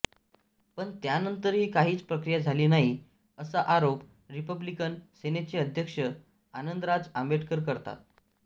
पण त्यानंतरही काहीच प्रक्रिया झाली नाही असा आरोप रिपब्लिकन सेनेचे अध्यक्ष आनंदराज आंबेडकर करतात